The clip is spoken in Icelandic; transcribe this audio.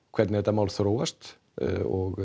hvernig þetta mál þróast og